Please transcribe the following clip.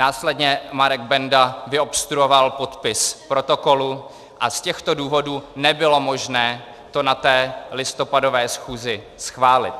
Následně Marek Benda vyobstruoval podpis protokolu, a z těchto důvodů nebylo možné to na té listopadové schůzi schválit.